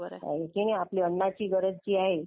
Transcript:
आणि आपली अन्नाची गरज जी आहे.